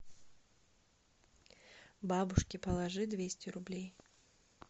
бабушке положи двести рублей